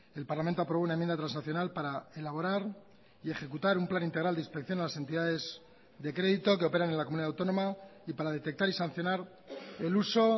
el parlamento aprobó una enmienda transaccional para elaborar y ejecutar un plan integral de inspección a las entidades de crédito que operan en la comunidad autónoma y para detectar y sancionar el uso